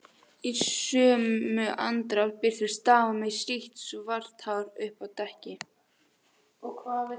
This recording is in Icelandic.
Í sömu andrá birtist dama með sítt, svart hár uppi á dekki.